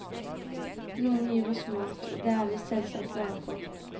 Noen gir oss mat, og det er vi selvsagt glade for.